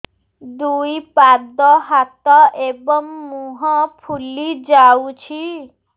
ଦୁଇ ପାଦ ହାତ ଏବଂ ମୁହଁ ଫୁଲି ଯାଉଛି